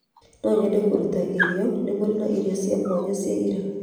No nyende kũruta irio nĩ mũrĩ na irio cia mwanya cia iria?